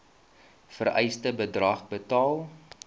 vereiste bedrag betaal